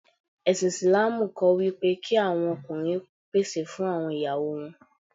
Ẹ̀sìn Ìsìlámù kọ́ wípé kí àwọn ọkùnrin pèsè fún àwọn ìyáwó wọn.